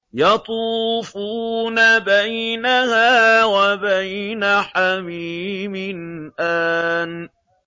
يَطُوفُونَ بَيْنَهَا وَبَيْنَ حَمِيمٍ آنٍ